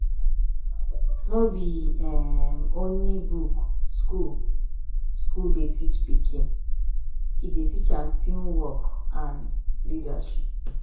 no be um only book school school dey teach pikin e dey teach am teamwork and leadership